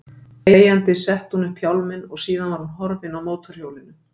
Þegjandi setti hún upp hjálminn og síðan var hún horfin á mótorhjólinu.